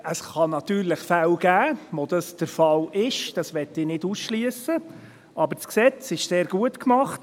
Es kann natürlich Fälle geben, in denen dies der Fall ist, das möchte ich nicht ausschliessen, aber das Gesetz ist sehr gut gemacht.